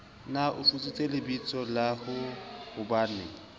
ne a futsitse lebitsola haehobanee